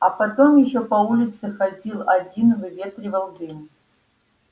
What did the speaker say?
а потом ещё по улице ходил один выветривал дым